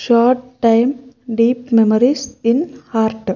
Short time deep memories in heart .